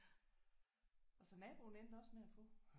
Og så naboen endte også med at få